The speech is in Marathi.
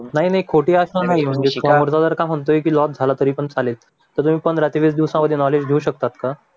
नाही नाही खोटी आशा नाही समोरचा जर म्हणतोय कि लॉस झाला तरी पण चालेल तर तुम्ही पंधरा ते वीस दिवसांमध्ये मॉडेल घेऊ शकतात का